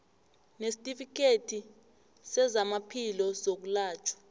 nesitifikhethi sezamaphilo sokwelatjhwa